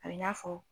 A bɛ n'a fɔ